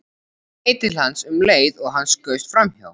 Hún leit til hans um leið og hann skaust framhjá.